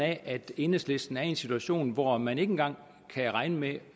af at enhedslisten er i en situation hvor man ikke engang kan regne med